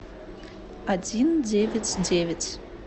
один девять девять